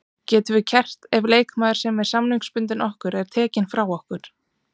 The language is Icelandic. Getum við kært ef leikmaður sem er samningsbundinn okkur er tekinn frá okkur?